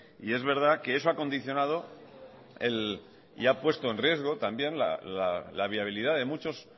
y es verdad que eso ha condicionado y ha puesto en riesgo también la viabilidad de muchos